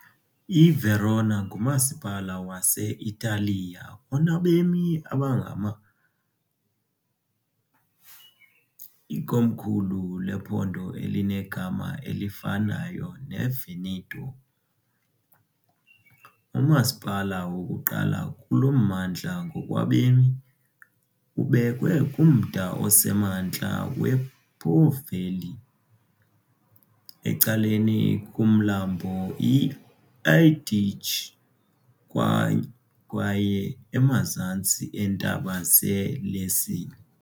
IVerona ngumasipala wase-Italiya onabemi abangama, ikomkhulu lephondo elinegama elifanayo neVeneto. Umasipala wokuqala kulo mmandla ngokwabemi, ubekwe kumda osemantla wePo Valley, ecaleni komlambo iAdige kwaye emazantsi eentaba zeLessini.